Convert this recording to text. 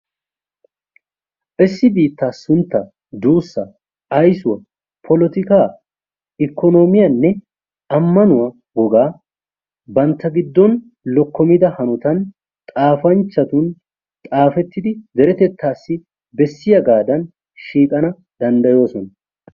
Issi biittaa sunttaa, duussaa, aysuwa, polotikaa, ikkonoomiyanne ammanuwa wogaa bantta giddon lokkomida hanotan xaafanchxhatun xaafettidi deretettaassi bessiyagaadan shiiqana danddayoosona.